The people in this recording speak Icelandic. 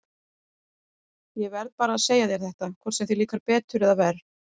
Ég verð bara að segja þér þetta, hvort sem þér líkar betur eða verr.